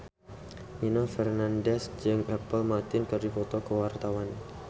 Nino Fernandez jeung Apple Martin keur dipoto ku wartawan